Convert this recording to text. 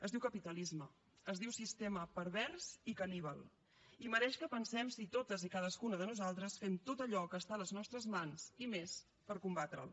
es diu capitalisme es diu sistema pervers i caníbal i mereix que pensem si totes i cadascuna de nosaltres fem tot allò que està a les nostres mans i més per combatre’l